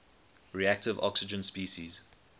reactive oxygen species